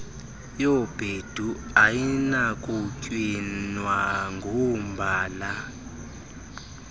yobhedu ayinakutywinwa ngombala